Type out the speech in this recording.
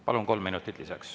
Palun, kolm minutit lisaks.